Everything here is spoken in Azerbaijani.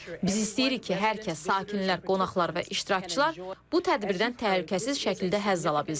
Biz istəyirik ki, hər kəs sakinlər, qonaqlar və iştirakçılar bu tədbirdən təhlükəsiz şəkildə həzz ala bilsin.